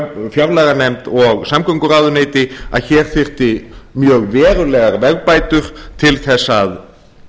fjárlaganefnd og samgönguráðuneyti að hér þyrfti mjög verulegar vegabætur til þess að